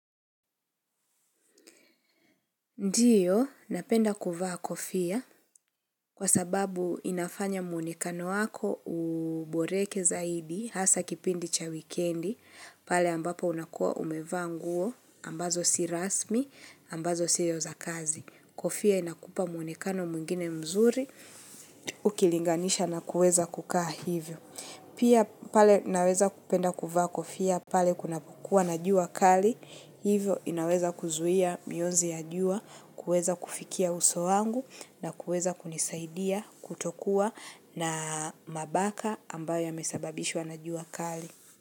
Ndiyo, napenda kuvaa kofia, kwa sababu inafanya muonekano wako uboreke zaidi, hasa kipindi cha wikendi, pale ambapo unakua umevaa nguo, ambazo si rasmi, ambazo sio za kazi. Kofia inakupa mwonekano mwingine mzuri, ukilinganisha na kuweza kukaa hivyo. Pia pale naweza kupenda kuvaa kofia pale kunapokuwa na jua kali, hivyo inaweza kuzuia mionzi ya jua, kuweza kufikia uso wangu na kuweza kunisaidia kutokuwa na mabaka ambayo yamesababishwa na jua kali.